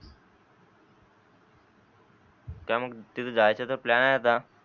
काय मग तिथे जायच तर प्लॅन आहे आता